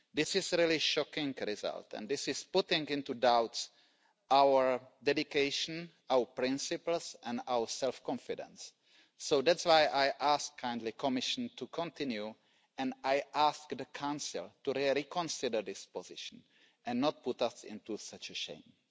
This is a really shocking result and this is putting into doubt our dedication, our principles and our self confidence, so that's why I kindly ask the Commission to continue and I ask the Council to reconsider this position and not put us into such a shameful